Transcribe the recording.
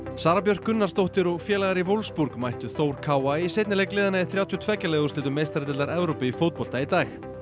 Sara Björk Gunnarsdóttir og félagar í Wolfsburg mættu Þór í seinni leik liðanna í þrjátíu og tveggja liða úrslitum meistaradeildar Evrópu í fótbolta í dag